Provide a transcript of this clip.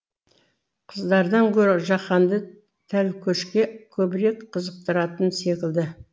қыздардан гөрі жақанды тәлкөшке көбірек қызықтыратын секілді